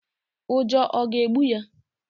Ụjọ ọ̀ ga-egbu ya?